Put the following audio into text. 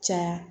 Caya